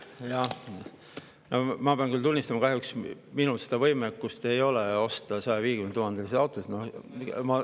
Jah, ma pean küll tunnistama, et kahjuks minul ei ole võimekust osta 150 000-euroseid autosid.